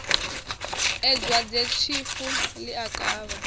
ee dwadzetshifu ḽi a kavha